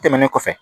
Tɛmɛnen kɔfɛ